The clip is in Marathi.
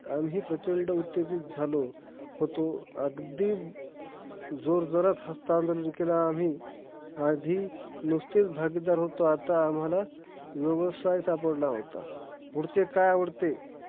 आम्ही प्रचंड उत्तेजीत झालो होतो. अगदी जोजोरात हास्तान्दोलन केलं आम्ही, आधी नुसतेचं भागीदार होतो आता आम्हाला व्यवसाय सापडला होता. पुढचे काही आवडते